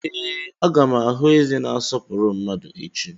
Ee, a ga m ahụ eze na-asọpụrụ mmadu echi.